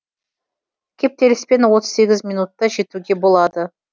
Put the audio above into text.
кептеліспен отыз сегіз минутта жетуге болады